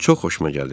Çox xoşuma gəlir.